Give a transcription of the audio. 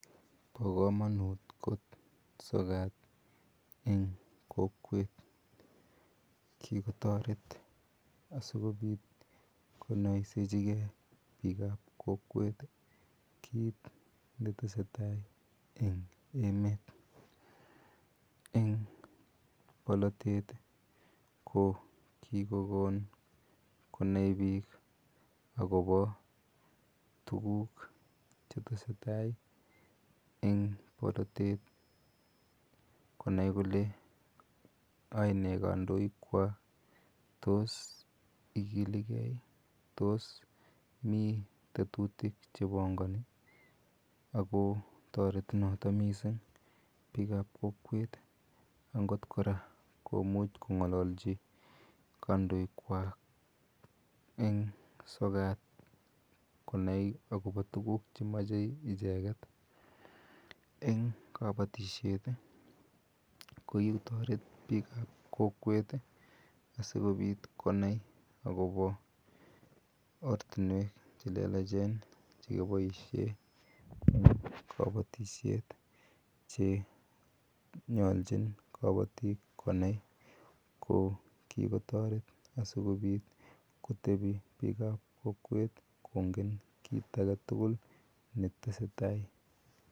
No kamanut kot sokat en kokwet, kikotoret asikobit konaisechike bikab kokwet kit netesetai en emeet. En olitetet kikokon konai bik akobo tuguk chetesetai en polatet. Konai kole aene kandoik kwak tos me tetutik chebangani ih . Ako toreti noto missing bikab kokwet agot kora komuch ko ng'alachi kandoik kwak en sokat konai akoba tuguk chemamache icheket en kabatisiet ih, kokikotaret bikab kokwet ih asikonai akobo ortinuek chelelachen chekiboisien en kabatisiet che nyalchin kabatik konaiko kikotaret asikobit kotebie bikab kokwet kongen kit agetugul netesetai.